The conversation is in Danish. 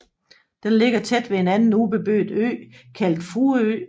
Den ligger tæt ved en anden ubeboet ø kaldet Fruerø